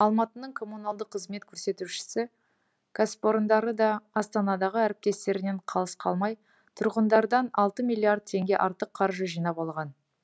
алматының коммуналдық қызмет көрсетуші кәсіпорындары да астанадағы әріптестерінен қалыс қалмай тұрғындардан алты миллиард теңге артық қаржы жинап алған